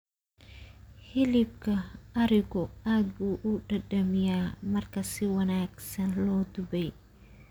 Hilibka arigu aad buu u dhadhamiyaa marka si wanaagsan loo dubay.